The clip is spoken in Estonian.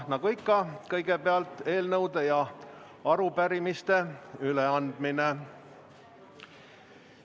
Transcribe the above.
Nagu ikka, kõigepealt on eelnõude ja arupärimiste üleandmine.